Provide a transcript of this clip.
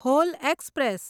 hall express